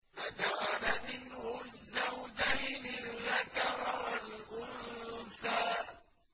فَجَعَلَ مِنْهُ الزَّوْجَيْنِ الذَّكَرَ وَالْأُنثَىٰ